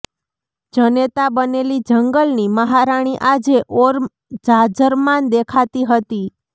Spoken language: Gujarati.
જનેતા બનેલી જંગલની મહારાણી આજે ઓર જાજરમાન દેખાતી હતી